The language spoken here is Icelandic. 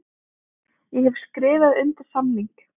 Ég hef skrifað undir samning.